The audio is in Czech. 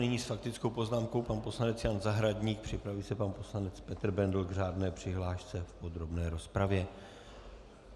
Nyní s faktickou poznámkou pan poslanec Jan Zahradník, připraví se pan poslanec Petr Bendl k řádné přihlášce v podrobné rozpravě.